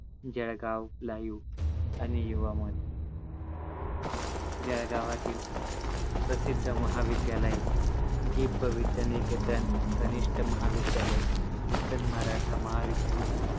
Jalgaon LIVE आणि युवा मन जळगावातील प्रसिद्ध महाविद्यालये जी. प. विद्यानिकेतन कनिष्ठ महाविद्यालय, नूतन मराठा महाविद्यालय